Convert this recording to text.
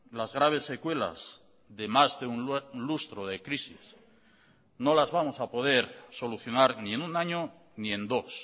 las graves secuelas de más de un lustro de crisis no las vamos a poder solucionar ni en un año ni en dos